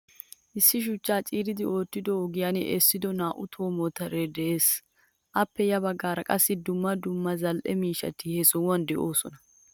Issi shuchchaa ciiridi oottidon ogiyan essido naa'u tohuwawa motore de'ees. Appe ya baggaara qassi dumma dumma zal'ee miishshati he sohuwan deosona.